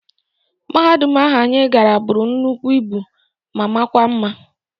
Mahadum ahu anyị gara bụrụ nnukwu ibu ma makwa mma.